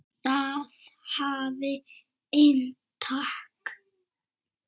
Það hafði inntak.